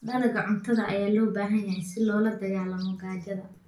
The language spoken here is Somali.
Dalagga cuntada ayaa loo baahan yahay si loola dagaallamo gaajada.